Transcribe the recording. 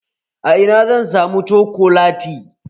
A ina zan samu cokolati?